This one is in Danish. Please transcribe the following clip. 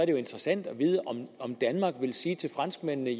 jo interessant at vide om danmark vil sige til franskmændene